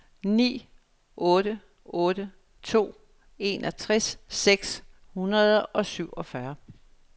ni otte otte to enogtres seks hundrede og syvogfyrre